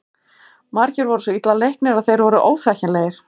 Margir voru svo illa leiknir að þeir voru óþekkjanlegir.